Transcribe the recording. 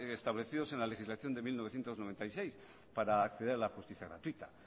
establecidos en la legislación de mil novecientos noventa y seis para acceder a la justicia gratuita